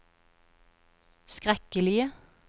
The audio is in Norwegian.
skrekkelige